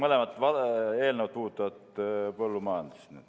Olgugi et need mõlemad eelnõud puudutavad põllumajandust.